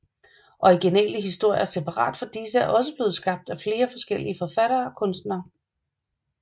Originale historier separat fra disse er også blevet skabt af flere forskellige forfattere og kunstnere